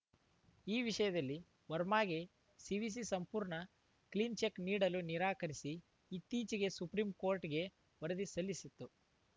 ಈ ವಿಷಯದಲ್ಲಿ ವರ್ಮಾಗೆ ಸಿವಿಸಿ ಸಂಪೂರ್ಣ ಕ್ಲೀನ್‌ ಚೆಕ್ ನೀಡಲು ನಿರಾಕರಿಸಿ ಇತ್ತೀಚೆಗೆ ಸುಪ್ರೀಂ ಕೋರ್ಟ್‌ಗೆ ವರದಿ ಸಲ್ಲಿಸಿತ್ತು